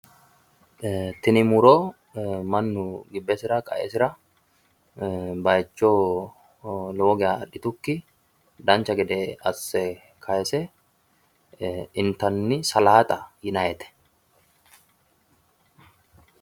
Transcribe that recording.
Tini muro mannu gibbesira qaesira baayicho lowo geeshsha adhitukkinni dancha gede asse kayiise intanni salaaxa yinayite.